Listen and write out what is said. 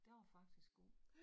Den var faktisk god